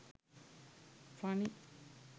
funny